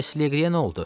Bəs Leqriyə nə oldu?